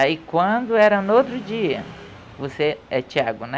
Aí, quando era no outro dia, você, é Thiago, né?